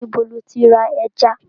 Níbo lo ti lọ ra ẹja?